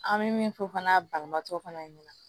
An bɛ min fɔ fana balimatɔ fana ɲɛna